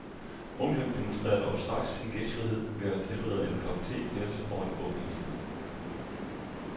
Onklen demonstrerer dog straks sin gæstfrihed ved at tilberede en kop the til os over det åbne ildsted.